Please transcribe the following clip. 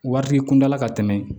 Waritigi kuntaala ka tɛmɛ